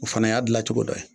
O fana y'a gilacogo dɔ ye